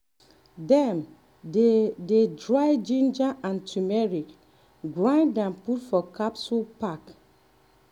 e dey make pineapple jam sell give bakery for hin town.